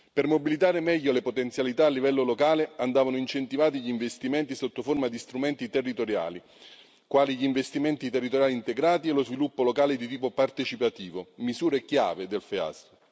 Per mobilitare meglio le potenzialità a livello locale andavano incentivati gli investimenti sotto forma di strumenti territoriali, quali gli investimenti territoriali integrati e lo sviluppo locale di tipo partecipativo, misure chiave del FEAS.